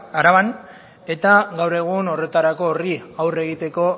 araban eta gaur egun horretarako horri aurre egiteko